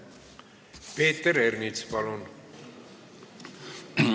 Peeter Ernits, palun!